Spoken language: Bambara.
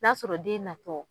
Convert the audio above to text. N'a sɔrɔ den natɔ